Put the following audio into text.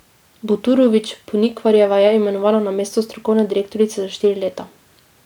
Buturović Ponikvarjeva je imenovana na mesto strokovne direktorice za štiri leta.